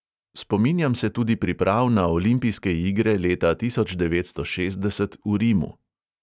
Spominjam se tudi priprav na olimpijske igre leta tisoč devetsto šestdeset v rimu.